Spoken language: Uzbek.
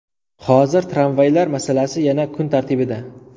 Hozir tramvaylar masalasi yana kun tartibida.